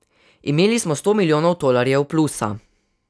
Imeli smo sto milijonov tolarjev plusa.